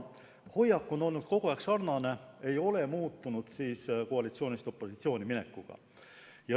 Hoiak on kogu aeg olnud sarnane, see ei ole muutunud koalitsioonist opositsiooni minekuga.